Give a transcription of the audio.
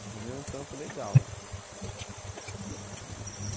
Arrumei um trampo legal, mano?